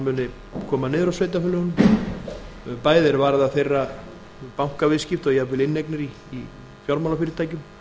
muni koma niður á sveitarfélögunum bæði er varðar þeirra bankaviðskipti og jafnvel inneignir í fjármálafyrirtækjum